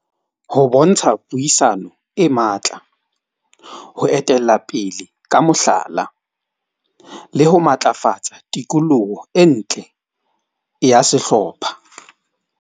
Ho bontsha puisano e matla ho etella pele, ka mohlala le ho matlafatsa tikoloho e ntle ya sehlopha.